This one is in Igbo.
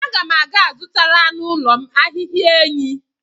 Aga m aga-azụtara anụ ụlọ m ahịhịa enyí.